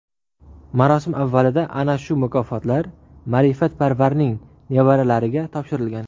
Marosim avvalida ana shu mukofotlar ma’rifatparvarning nevaralariga topshirilgan.